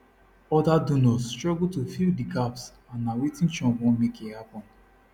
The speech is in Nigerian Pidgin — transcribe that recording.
oda donors struggle to fill di gaps and na wetin trump want make e happun